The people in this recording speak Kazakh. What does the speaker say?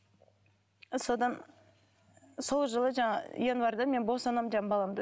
содан сол жылы жаңағы январьда мен босанамын жаңағы баламды